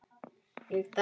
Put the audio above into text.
Ég dæmi engan.